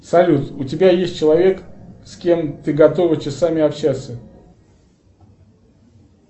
салют у тебя есть человек с кем ты готова часами общаться